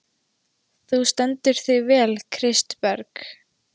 Þú stendur þig vel, Kristberg!